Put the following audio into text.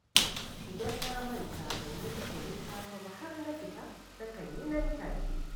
Idan na manta ban yi zikirin safe ba har na fita, nakan yi nan take